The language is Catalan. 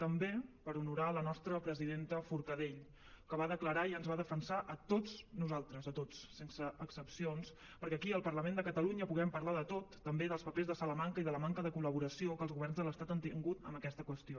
també per honorar la nostra presidenta forcadell que va declarar i ens va defensar a tots nosaltres a tots sense excepcions perquè aquí al parlament de catalunya puguem parlar de tot també dels papers de salamanca i de la manca de col·laboració que els governs de l’estat han tingut en aquesta qüestió